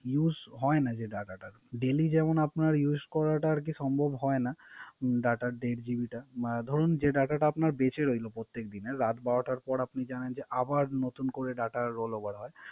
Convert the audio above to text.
Use হয় না যে Data টা daily যেমন Use করাটা যে সম্ভব হয় না যে data টা Date due টা। বা দরুন যে Data বেচে রইলো। প্রত্যেক দিনে। রাত বারোটার পর আপনি জানেন যে আবার নতুন করে Data role over হয়